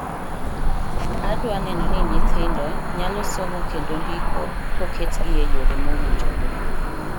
Adwa neno ni nyithindo nyalo somo kendo ndiko koketgi eyore mowinjore.